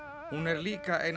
hún er líka ein